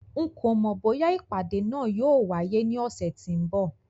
N kò mọ̀ bóyá ìpàdé náà yóò wáyé ní ọ̀sẹ̀ tí ó ń bọ̀